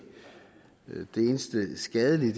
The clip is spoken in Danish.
det eneste skadelige